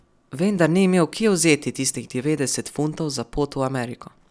Vendar ni imel kje vzeti tistih devetdesetih funtov za pot v Ameriko.